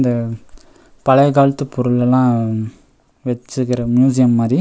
ம் பழைய காலத்து பொருளெல்லா வெச்சி இருக்குற மியூசியம் மாறி--